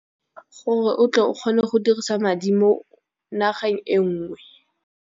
Gore o tle o kgone go dirisa madi mo nageng e ngwe.